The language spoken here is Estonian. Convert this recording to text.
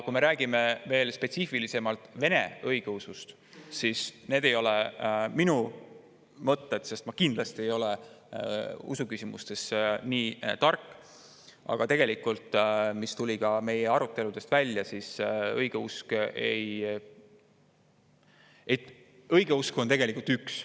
Kui me räägime veel spetsiifilisemalt vene õigeusust – need ei ole minu mõtted, ma kindlasti ei ole usuküsimustes nii tark, aga see tuli meie aruteludest välja –, siis õigeusk on tegelikult üks.